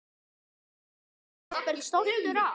Og yrði jafnvel stoltur af.